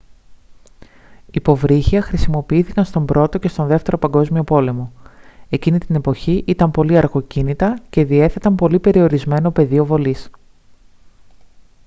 υποβρύχια χρησιμοποιήθηκαν στον α΄ και στον β΄ παγκόσμιο πόλεμο. εκείνη την εποχή ήταν πολύ αργοκίνητα και διέθεταν πολύ περιορισμένο πεδίο βολής